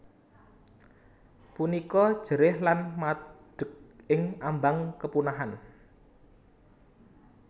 Punika jerih lan madeg ing ambang kepunahan